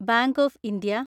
bank of India